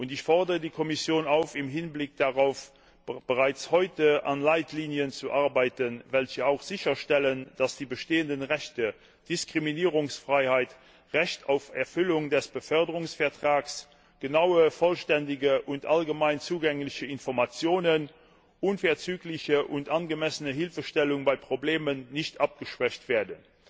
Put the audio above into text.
Ich fordere die Kommission auf, im Hinblick darauf bereits heute an Leitlinien zu arbeiten, welche auch sicherstellen, dass die bestehenden Rechte Diskriminierungsfreiheit, Recht auf Erfüllung des Beförderungsvertrags, genaue, vollständige und allgemein zugängliche Informationen, unverzügliche und angemessene Hilfestellung bei Problemen nicht abgeschwächt werden.